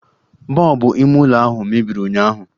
Bọbụ ime ụlọ ahụ mebiri ụnyụahụ